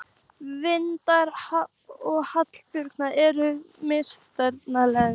Vilmundur og Hallbjörn eru útsmognir esperantistar